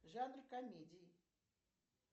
жанр комедии